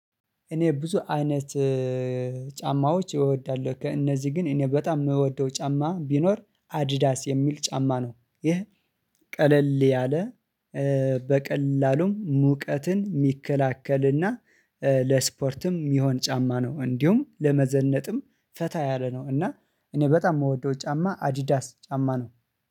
እኔ ብዙ አይነት ጫማዎች እወዳለሁ። ከእነዚህ ግን በጣም የምወደው ጫማ ቢኖር፣ አዲዳስ የምል ጫማ ነው። ይሄ ቀለል ያለ፣ ኤ በቀላሉም ሙቀትን የሚከላከልና ለስፖርትም የሚሆን ጫማ ነው። እንዲሁም ለመዘነጥም ፈታ ያለ ነው፣ እና እኔ በጣም የምወደው ጫማ አዲዳስ ጫማ ነው።